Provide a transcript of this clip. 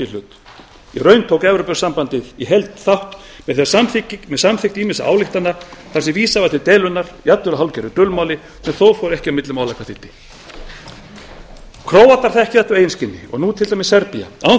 hlut í raun tók evrópusambandið í heild þátt með samþykkt ýmissa ályktana þar sem vísað var til deilunnar jafnvel á hálfgerðu dulmáli sem þó fór ekki á milli mála hvað þýddi króatar þekkja þetta á eigin skinni og nú til dæmis serbía án